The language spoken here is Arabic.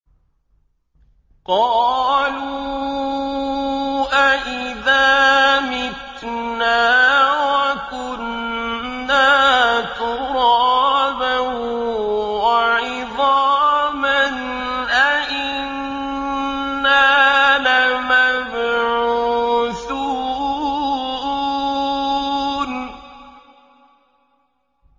قَالُوا أَإِذَا مِتْنَا وَكُنَّا تُرَابًا وَعِظَامًا أَإِنَّا لَمَبْعُوثُونَ